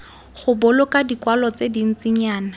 go boloka dikwalo tse dintsinyana